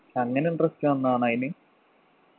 അങ്ങനെ interest വന്നതാണോ അയിന്